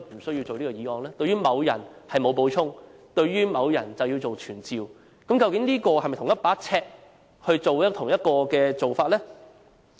對於某人沒有補充，對於別個某人卻要傳召，究竟是否出於同一把尺的同一個做法？